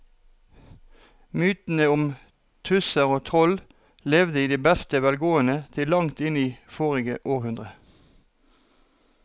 Mytene om tusser og troll levde i beste velgående til langt inn i forrige århundre.